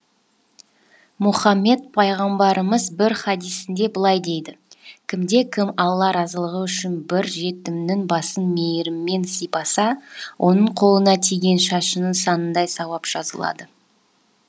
мұхаммед пайғамбарымыз бір хадисінде былай дейді кімде кім алла разылығы үшін бір жетімнің басын мейіріммен сипаса оның қолына тиген шашының санындай сауап жазылады